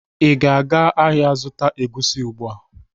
Ị ga-aga ahịa zụta egusi ugbu a!